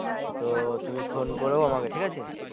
তো তুমি phon করো আমাকে ঠিক আছে।